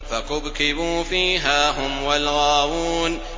فَكُبْكِبُوا فِيهَا هُمْ وَالْغَاوُونَ